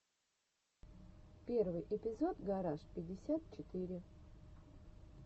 первый эпизод гараж пятьдесят четыре